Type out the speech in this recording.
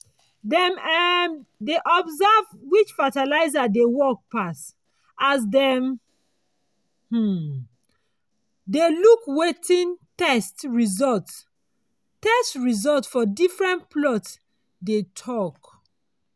dem um dey observe which fertilizer dey work pass as dem um dem look wetin test result test result for different plots dey tok.